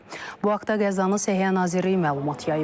Bu haqda Qəzzanın Səhiyyə Nazirliyi məlumat yayıb.